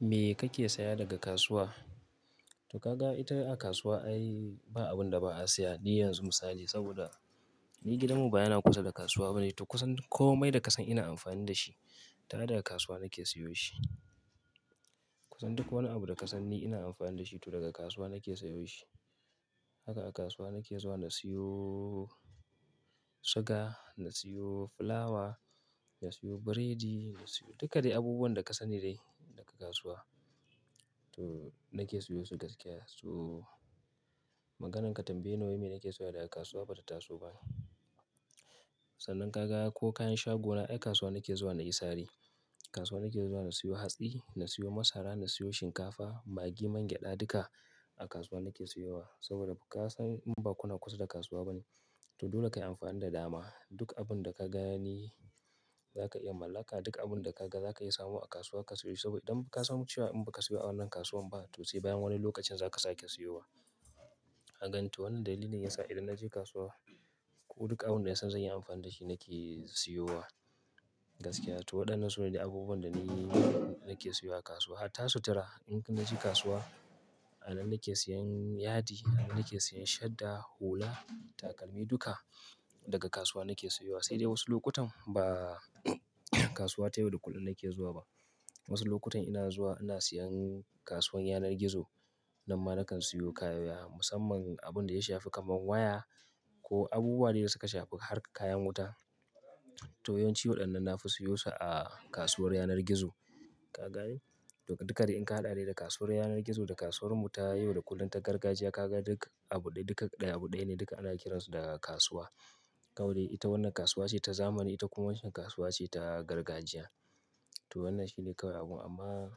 Me kake saya daga kasuwa? To ka ga ita a kasuwa ai, ba abun da ba'a saya. Ni yanzu misali, saboda ni gidanmu ba yana kusa da kasuwa ba ne, to kusan komai da ka san ina amfani da shi, to ai daga kasuwa nake siyo shi. Kusan duk wani abu da ka san ni ina amfani da shi to daga kasuwa nake siyoshi. Haka a kasuwa nake zuwa na siyo suga, na siyo fulawa, na siyo biredi, na siyo duka dai abubuwan da ka sani dai daga kasuwa. To nake siyo su gaskiya. To maganan ka tambaye ni wai me nake saya daga kasuwa bata taso ba. Sannan ka ga ko kayan shagona ai kasuwa nake zuwa na yi sari. Kasuwa nake zuwa na siyo hatsi, na siyo masara, na siyo shinkafa, maggi, man gyaɗa duka, a kasuwa nake siyowa. Saboda ka san in ba kuna kusa da kasuwa ba ne, to dole ka yi amfani da dama, Duk abun da ka gani za ka iya mallaka, duk abun da ka ga za ka iya samu a kasuwa ka siyo shi. Saboda idan ka san cewa in ba ka siyo a wannan kasuwan ba, to sai bayan wane lokacin za ka sake siyowa. Kagani to wannan dalili ne ya sa idan na je kasuwa, ko duk abun da na san zanyi amfani da shi nake siyowa gaskiya. To waɗannan su ne dai abubuwan da ni nake siyowa a kasuwa. Hatta sutura in naje kasuwa, a nan nake siyan yadi, a nan nake siyan shadda, hula, takalmi duka, daga kasuwa nake siyowa. Sai dai wasu lokutan ba kasuwa ta yau da kullum nake zuwa ba. Wasu lokutan ina zuwa ina siyan kasuwan yanar gizo. Nan ma na kan siyo kaya, musamman abun da ya shafi kaman waya, ko abubuwa dai da suka shafi harkar kayan wuta, to yawanci waɗannan na fi siyosu a kasuwar yanar gizo. Ka gane? To duka dai in ka haɗa dai da kasuwar yanar gizo da kasuwar mu ta yau da kullum ta gargajiya, ka ga duk abu ɗaya, duka ɗaya, abu ɗaya ne, duka ana kiransu da kasuwa. Kawai dai ita wannan kasuwa ce ta zamani, ita kuma wancan kasuwa ce ta gargajiya. To wannan shine kawai abun, amma,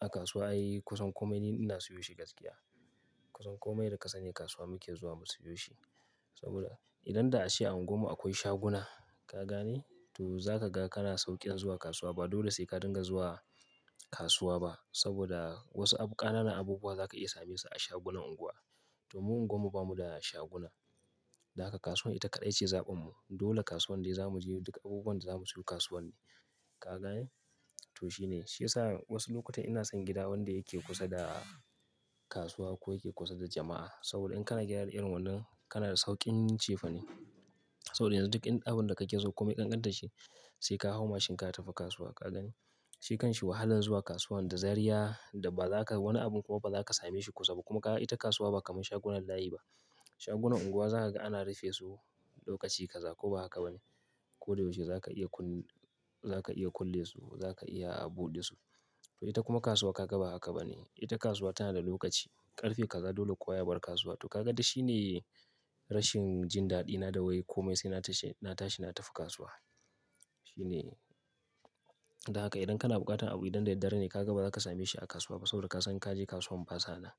a kasuwa ai kusan komai ni ina siyo shi gaskiya. Kusan komai da ka sani, kasuwa muke zuwa mu siyo shi. Saboda idan da'a ce anguwar mu akwai shaguna, ka gane? To za ka ga kana sauƙin zuwa kasuwa. Ba dole sai ka dinga zuwa, kasuwa ba, saboda wasu abu, ƙananan abubuwa za ka iya same su a shagunan unguwa. To mu unguwar mu bamu da shaguna. Dan haka kasuwar ita kaɗai ce zaɓin mu. Dole kasuwan dai za mu je duk abubuwan da za mu siyo kasuwan ne. Ka gane? To shine, shi yasa wasu lokutan ina son gida wanda yake kusa da kasuwa, ko yake kusa da jama'a. Saboda in kana gida irin wannan, kana da sauƙin cefane. Saboda yanzu duk abun da kake so komai ƙanƙantar shi, sai ka hau mashin ka tafi kasuwa. Ka gani? Shi kanshi wahalar zuwa kasuwan da zarya, da ba za ka, wani abun kuma ba za ka same shi kusa ba, kuma kaga ita kasuwa ba kamar shagunan layi ba. Shagunan unguwa za ka ga ana rufe su lokaci ka za ko ba haka ba ne? Ko da yaushe za ka iya kun-za ka iya kulle su, za ka iya buɗe su. To ita kuma kasuwa ka ga ba haka ba ne? Ita kasuwa tana da lokaci, ƙarfe kaza dole kowa ya bar kasuwar. To ka ga dik shi ne, rashin jin daɗina da wai komai sai na tashi, na tashi na tafi kasuwa. Shine. Don haka idan kana buƙatar abu idan da daddare ne ka ga ba za ka same shi a kasuwa ba saboda ka san inka je kasuwan ba sa nan.